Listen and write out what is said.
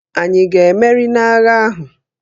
Ànyị ga-emeri n'agha ahụ?